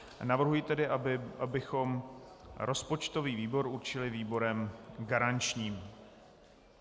Navrhuji tedy, abychom rozpočtový výbor určili výborem garančním.